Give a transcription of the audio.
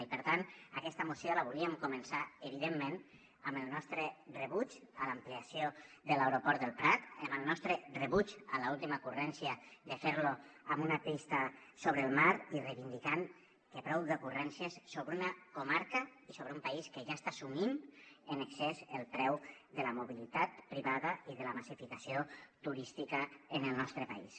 i per tant aquesta moció la volíem començar evidentment amb el nostre rebuig a l’ampliació de l’aeroport del prat amb el nostre rebuig a l’última ocurrència de fer lo amb una pista sobre el mar i reivindicant que prou d’ocurrències sobre una comarca i sobre un país que ja està assumint en excés el preu de la mobilitat privada i de la massificació turística en el nostre país